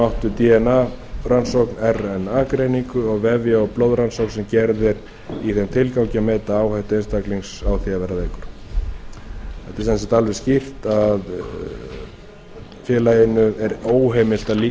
átt við dna rannsókn rna greiningu og vefja og blóðrannsókn sem gerð er í þeim tilgangi að meta áhættu einstaklings á því á vera veikur það er sem sagt alveg skýrt að félaginu er óheimilt að